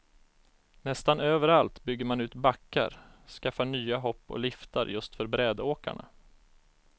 Nästan överallt bygger man ut backar, skaffar nya hopp och liftar just för brädåkarna.